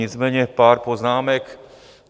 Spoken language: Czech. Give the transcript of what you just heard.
Nicméně pár poznámek.